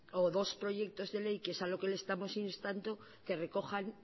o dos proyectos de ley que es a lo que le estamos instando que recojan